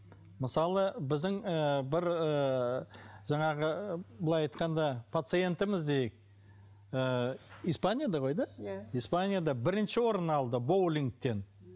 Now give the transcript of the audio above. мысалы біздің ыыы бір ыыы жаңағы былай айтқанда пациентіміз дейік ы испанияда ғой да иә испанияда бірінші орын алды боулингтен